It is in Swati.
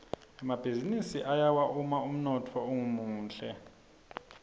emabhizinisi ayawa uma umnotfo ungemuhle